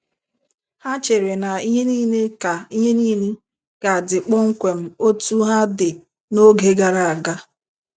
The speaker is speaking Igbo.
Ha chere na ihe niile ka niile ka dị kpọmkwem otú ha dị n’oge gara aga.